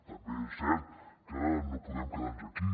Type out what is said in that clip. també és cert que no podem quedar nos aquí